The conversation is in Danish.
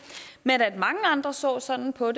men at mange andre så sådan på